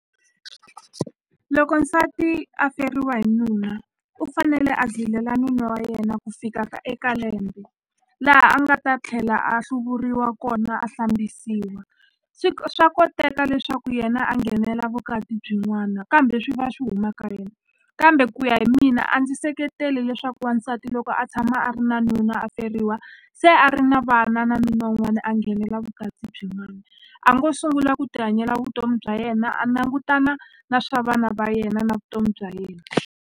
Loko nsati a feriwa hi nuna u fanele a zilela nuna wa yena ku fika ka eka lembe laha a nga ta tlhela a hluvuriwa kona a hlambisiwa swi swa koteka leswaku yena a nghenela vukati byin'wana kambe swi va swi huma ka yena kambe ku ya hi mina a ndzi seketeli leswaku wansati loko a tshama a ri na nuna a feriwa se a ri na vana na nuna wun'wani a nghenela vukati byin'wani a ngo sungula ku tihanyela vutomi bya yena a langutana na swa vana va yena na vutomi bya yena.